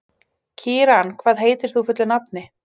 Kíran, hvað heitir þú fullu nafni?